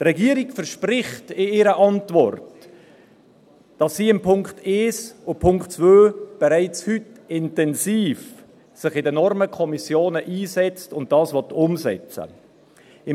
Die Regierung verspricht in ihrer Antwort, dass sie sich in Bezug auf die Punkte 1 und 2 bereits heute intensiv in den Normenkommissionen einsetzt und dies umsetzen will.